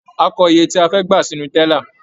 A kọ iye tí a fẹ́ gbà sínú tẹ́là.